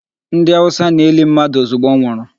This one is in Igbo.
Ndị Hausa na-eli mmadụ ozugbo ọ nwụrụ.